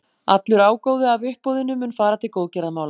Allur ágóði af uppboðinu mun fara til góðgerðamála.